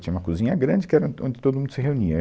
Tinha uma cozinha grande, que era, onde todo mundo se reunia.